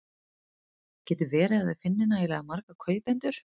Getur verið að þau finni nægilega marga kaupendur?